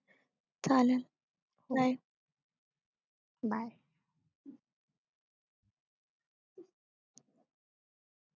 चालेल bye